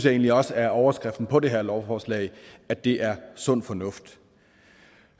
egentlig også er overskriften på det her lovforslag at det er sund fornuft